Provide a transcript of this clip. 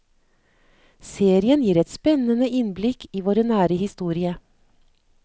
Serien gir et spennende innblikk i vår nære historie.